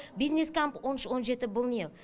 бизнес камп он үш он жеті бұл не